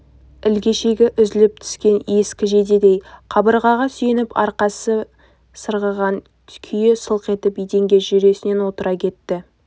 ілгешегі үзіліп түскен ескі жейдедей қабырғаға сүйеніп арқасымен сырғыған күйі сылқ етіп еденге жүресінен отыра кетті